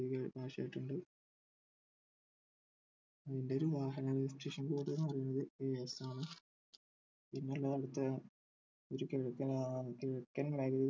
അതിന്റൊരു വാഹന registration code എന്ന് പറയുന്നത് AS ആണ് പിന്നെയുള്ളത് അവിടുത്തെ ഒരു കിഴക്കൻ ഏർ കിഴക്കൻ